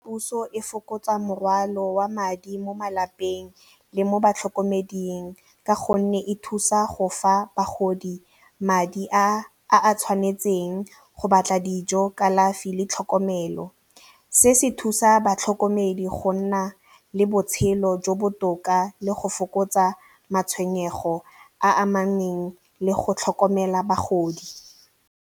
Puso e fokotsa morwalo wa madi mo malapeng le mo batlhokomedi ka gonne e thusa go fa bagodi madi a a tshwanetseng go batla dijo, kalafi le tlhokomelo. Se se thusa batlhokomedi go nna le botshelo jo botoka le go fokotsa matshwenyego a amaneng le go tlhokomela bagodi.